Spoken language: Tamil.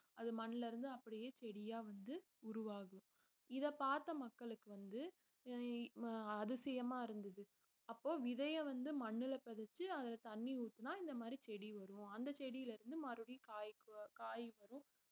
அது மண்ணுல இருந்து அப்படியே செடியா வந்து உருவாகும் இத பார்த்த மக்களுக்கு வந்து அஹ் இ~ அதிசயமா இருந்தது அப்போ விதைய வந்து மண்ணுல பதிச்சு அதுல தண்ணி ஊத்துனா இந்த மாதிரி செடி வரும் அந்த செடியில இருந்து மறுபடியும் காய்க்கும் காய் வரும்